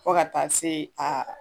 Fo ka taa se aa